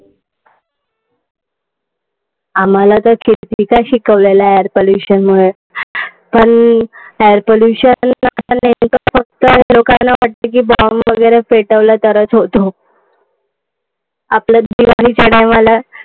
आम्हाला तर कितीदा शिकवले लहानपणी या pollution मुळे. पण air pollution नेमकं फक्त bomb वगैरे पेटवला तरच होतो. आपल्यात दिवाळीच्या time ला.